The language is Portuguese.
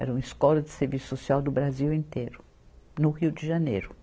Era uma escola de serviço social do Brasil inteiro, no Rio de Janeiro.